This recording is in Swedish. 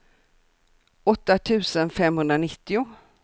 åtta tusen femhundranittio